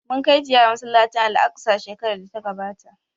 Mun kai ziyara masallacin Al'aqsa shekarar da ta gabata